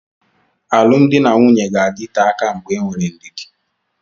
Alụmdi na nwunye ga-adịte aka mgbe enwere ndidi.